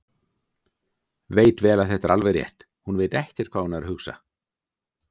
Veit vel að þetta er alveg rétt: Hún veit ekkert hvað hún er að hugsa.